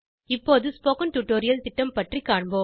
இப்போது spoken tutorial திட்டம் பற்றி காண்போம்